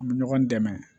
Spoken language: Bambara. An bɛ ɲɔgɔn dɛmɛ